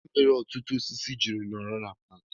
Kedụ ihe mere ọtụtụ osisi ji nọrọ na paaki